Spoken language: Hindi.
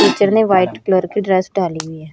टीचर ने व्हाइट कलर की ड्रेस डाली है।